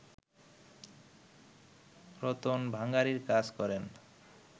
রতন ভাঙাড়ির কাজ করেন